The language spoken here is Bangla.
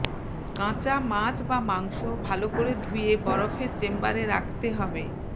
কাঁচা মাছ বা মাংস ভালো করে ধুয়ে বরফের চেম্বারে রাখতে হবে